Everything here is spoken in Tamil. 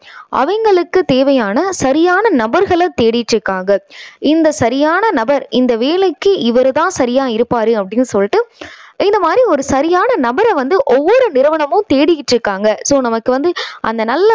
அவங்களுக்கு தேவையான சரியான நபர்களை தேடிட்டு இருக்காங்க. இந்த சரியான நபர் இந்த வேலைக்கு இவரு தான் சரியா இருப்பாரு அப்படின்னு சொல்லிட்டு இந்த மாதிரி ஒரு சரியான நபரை வந்து ஒவ்வொரு நிறுவனமும் தேடிக்கிட்டு இருக்காங்க. so நமக்கு வந்து அந்த நல்ல